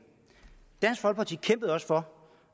dansk folkeparti kæmpede også for